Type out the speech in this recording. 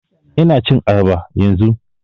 Ina cin ayaba yanzun